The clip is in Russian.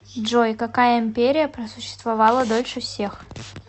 джой какая империя просуществовала дольше всех